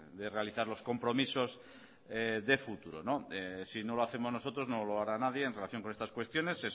de realizar los compromisos de futuro si no lo hacemos nosotros no lo hará nadie en relación con estas cuestiones